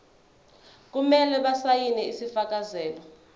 kumele basayine isifakazelo